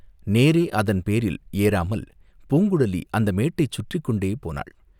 நேரே அதன் பேரில் ஏறாமல் பூங்குழலி அந்த மேட்டைச் சுற்றிக்கொண்டே போனாள்.